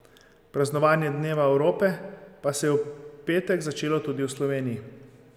Praznovanje dneva Evrope pa se je v petek začelo tudi v Sloveniji.